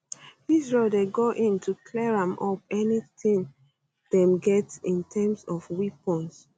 israel dey go in to clear am up anytin dem get in terms of weapons